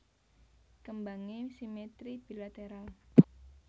Kembangé simetri bilateral